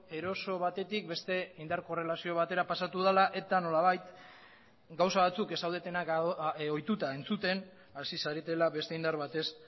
eroso batetik beste indar korrelazio batera pasatu dela eta nolabait gauza batzuk ez zaudetenak ohituta entzuten hasi zaretela beste indar batez